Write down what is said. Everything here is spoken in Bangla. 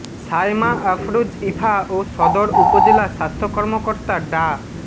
সায়মা আফরোজ ইভা ও সদর উপজেলা স্বাস্থ্য কর্মকর্তা ডা